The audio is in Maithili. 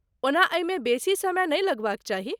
ओना एहिमे बेसी समय नहि लगबाक चाही।